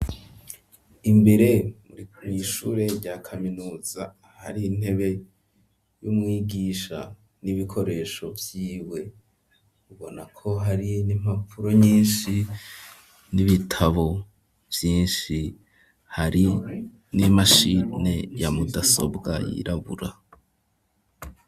Imbere muri mw'ishure rya kaminuza hari intebe y'umwigisha n'ibikoresho vyiwe ,ubona ko hari n'impapuro nyinshi n'ibitabo byinshi ,hari n'imashine ya mudasobwa yirabura.